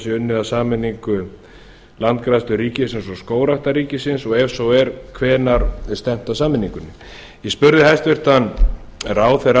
sé að sameiningu landgræðslu ríkisins og skógræktar ríkisins ef svo er hvenær er stefnt að sameiningunni ég spurði hæstvirtur ráðherra